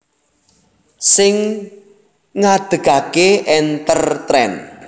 Sing ngadhegake EnterTrend